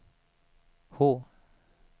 H